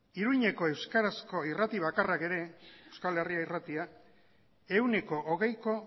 iruñako euskarazko irrati bakarrak ere euskal herria irratiak ehuneko hogeiko